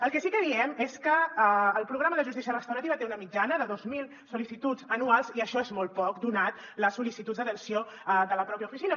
el que sí que diem és que el programa de justícia restaurativa té una mitjana de dos mil sol·licituds anuals i això és molt poc donades les sol·licituds d’atenció de la pròpia oficina